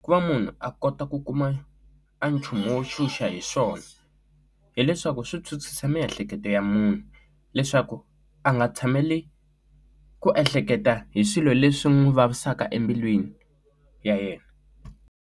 Ku va munhu a kota ku kuma a nchumu wo tshunxa hi swona hileswaku swi chuchisa miehleketo ya munhu leswaku a nga tshameli ku ehleketa hi swilo leswi n'wi vavisaka embilwini ya yena.